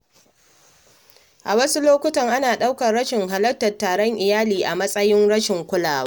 A wasu lokuta, ana ɗaukar rashin halartar taron iyali a matsayin rashin kulawa.